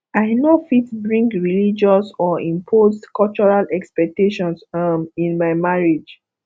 i no fit bring religious or imposed cultural expectations um in my marriage